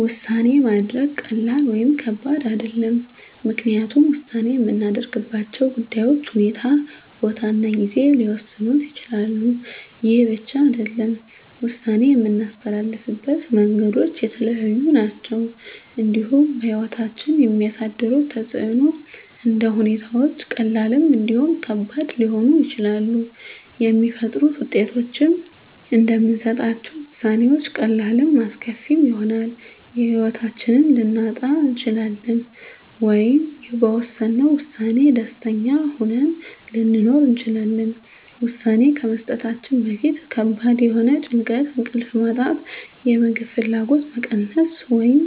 ውሳኔ ማድረግ ቀላል ወይም ከባድ አይደለም ምክንያቱም ውሳኔ የምናደርግባቸው ጉዳዮች ሁኔታ ቦታ እና ጊዜ ሊወሰኑት ይችላሉ ይህ ብቻ አይደለም ውሳኔ የምናስተላልፍበት መንገዶች የተለያዩ ናቸው እንዲሁም በህይወታችን የሚያሳድሩት ተፅእኖም እንደ ሁኔታዎች ቀላልም እንዲሁም ከባድ ሊሆኑ ይችላሉ የሚፈጥሩት ውጤቶችም እንደምንሰጣቸው ውሳኔዎች ቀላልም አስከፊም ይሆናል የህይወታችንን ልናጣ እንችላለን ወይም በወሰነው ውሳኔ ደስተኛ ሆነን ልንኖር እንችላለን ውሳኔ ከመስጠታችን በፊት ከባድ የሆነ ጭንቀት እንቅልፍ ማጣት የምግብ ፍላጎት መቀነስ ወይም